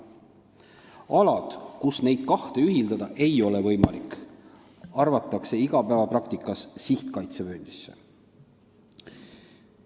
Alad, kus neid kahte asja ühitada ei ole võimalik, arvatakse igapäevapraktikas sihtkaitsevööndisse.